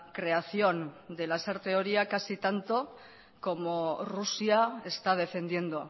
creación de lasarte oria casi tanto como rusia está defendiendo